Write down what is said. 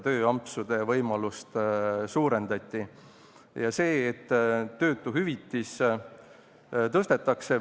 Töötuhüvitist tõstetakse.